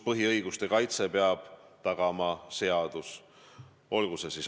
Põhiõiguste kaitse peab tagama seadus.